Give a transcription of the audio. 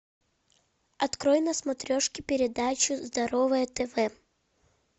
открой на смотрешке передачу здоровое тв